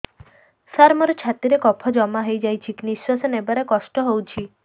ସାର ମୋର ଛାତି ରେ କଫ ଜମା ହେଇଯାଇଛି ନିଶ୍ୱାସ ନେବାରେ କଷ୍ଟ ହଉଛି